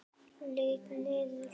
Lít niður.